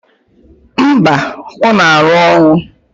Mba, ọ na-arụ ọrụ.